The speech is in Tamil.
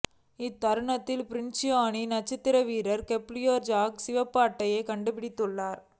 இந்த தருணத்தில் பிரேஸில் அணியின் நட்சத்திர வீரர் கெப்ரியஸ் ஜீஸஸ்க்கு சிவப்பு அட்டை காண்பிக்கப்பட்டது